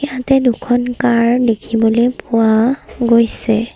ইয়াতে দুখন কাৰ দেখিবলৈ পোৱা গৈছে।